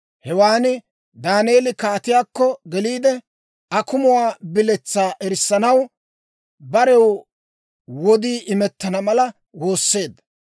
Hewaan Daaneeli kaatiyaakko geliide, akumuwaa biletsaa erissanaw, barew wodii imettana mala woosseedda.